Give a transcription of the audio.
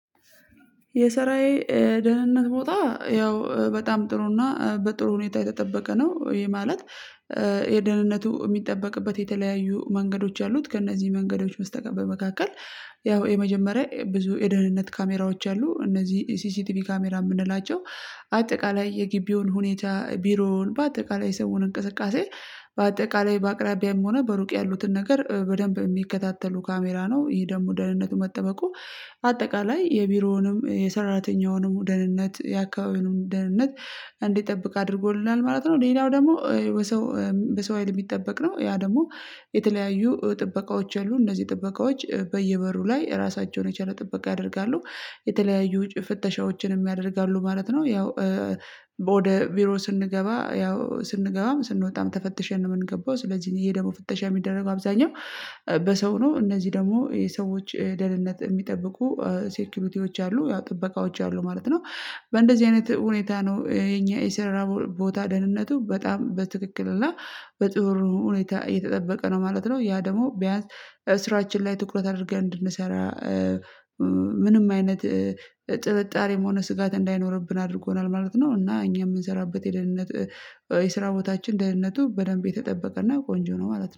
የስራየ ደህንነት ቦታ ያው በጣም ጥሩና በጥሩ ሁኔታ የተጠበቀ ነው። ይሄ ማለት የደህንነቱ የሚጠበቅበት የተለያዩ መንገዶች አሉት ከእነዚህ መንገዶች በስተቀር በመካከል ያው የመጀመሪያ ብዙ የደህንነት ካሜራዎች አሉ እነዚህ ሲሲቲቪ ካሜራ የምንላቸው አጠቃላይ የጊቢውን ሁኔታ ቢሮውን በአጠቃላይ የሰውን እንቅስቃሴ በአጠቃላይ በአቅራቢያም ሆነ በሩቅ ያሉትን ነገር በደንብ የሚከታተሉ ካሜራ ነው ይህ ደግሞ ደህንነቱ መጠበቁ አጠቃላይ የቢሮውንም የሰራተኛውንም ደህንነት የአካባቢውንም ደህንነት እንዲጠብቅ አድርጎልናል ማለት ነው። ሌላው ደግሞ በሰው በሰው ሀይል የሚጠበቅ ነው ያ ደግሞ የተለያዩ ጥበቃዎች አሉ እነዚህ ጥበቃዎች በየበሩ ላይ ራሳቸውን የቻለ ጥበቃ ያደርጋሉ የተለያዩ ፍተሻዎችንም ያደርጋሉ ማለት ነው። ያው ወደ ቢሮ ስንገባ ያው ስንገባም ስንወጣም ተፈትሸን ነው የምንገባው ስለዚህ ይሄ ደግሞ ፍተሻ የሚደረገው አብዛኛው በሰው ነው እነዚህ ደግሞ የሰዎች ደነት የሚጠብቁ ሴኪዩሪቲዎች አሉ ያው ጥበቃዎች አሉ ማለት ነው። በእንደዚህ አይነት ሁኔታ ነው የኛ የስራ ቦታ ደህንነቱ በጣም በትክክል እና በጥሩ ሁኔታ የተጠበቀ ነው ማለት ነው። ያ ደግሞ ቢያንስ ስራችን ላይ ትኩረት አድርገን እንድንሰራ ምንም አይነት ጥርጣሬም ሆነ ስጋት እንዳይኖርብን አድርጎናል ማለት ነው። እና እኛ የምንሰራበት የደህንነት የስራ ቦታችን ደህንነቱ በደንብ የተጠበቀና ቆንጆ ነው ማለት ነው